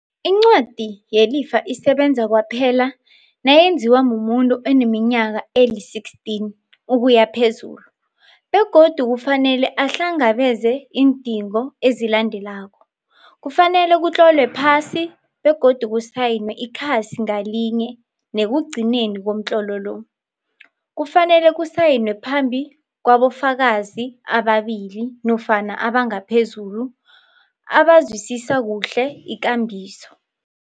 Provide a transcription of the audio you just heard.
Incwadi yelifa isebenza kwaphela nayenziwa mumuntu oneminyaka eli-16 ukuya phezulu, begodu ku fanele ahlangabeze iindingo ezilandelako, kufanele kutlolwe phasi, begodu kusayinwe ikhasi ngalinye nekugcineni komtlolo lo. Kufanele kusayinwe phambi kwabofakazi ababili nofana abangaphezulu abazwisisa kuhle ikambiso.